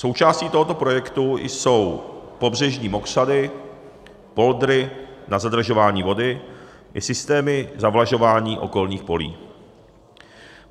Součástí tohoto projektu jsou pobřežní mokřady, poldry na zadržování vody i systémy zavlažování okolních polí.